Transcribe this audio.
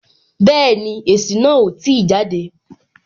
Bẹẹni, èsì náà o ti jade